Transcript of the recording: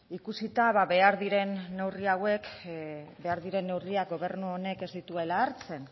ikusita behar diren neurri hauek behar diren neurriak gobernu honek ez dituela hartzen